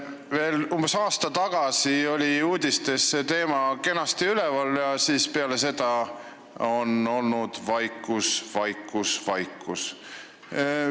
Veel umbes aasta tagasi oli uudistes see teema kenasti üleval, aga peale seda on olnud vaikus, vaikus, vaikus.